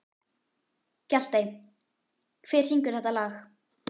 Hjaltey, hver syngur þetta lag?